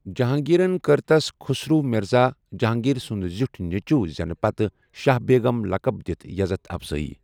جہانٛگیٖرن كٕر تس، خُسرو مِرزا ،جہانگیر سُنٛد زِیوٗٹھ نیچٖو زینہِ پتہٕ ،شاہ بیگم لقب دِتھ یزتھ افضٲیی ۔